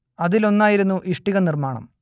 അതിലൊന്നായിരുന്നു ഇഷ്ടിക നിർമ്മാണം